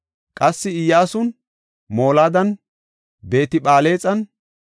Qassi Iyyasun, Molaadan, Beet-Phalexan,